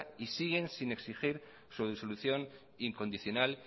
y siguen sin exigir su disolución incondicional